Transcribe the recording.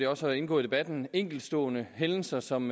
også har indgået i debatten enkeltstående hændelser som